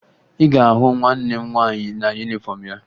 Ị ga-ahụ nwanne m nwaanyị na yunifọmụ ya